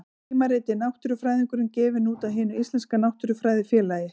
Tímaritið Náttúrufræðingurinn, gefið út af Hinu íslenska náttúrufræðifélagi.